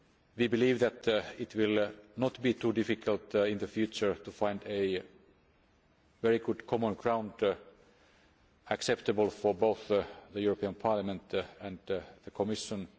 We believe that it will not be too difficult in the future to find a very good common ground acceptable for both the European Parliament and the Commission.